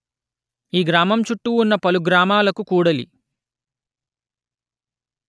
ఈ గ్రామం చుట్టూ ఉన్న పలు గ్రామాలకు కూడలి